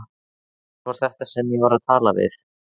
Hver var þetta sem ég var að tala við?